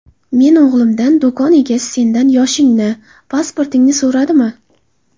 Men o‘g‘limdan: - Do‘kon egasi sendan yoshingni, pasportingni so‘radimi?